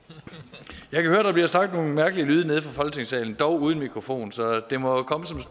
jeg der bliver sagt nogle mærkelige lyde nede fra folketingssalen dog uden for mikrofon så det må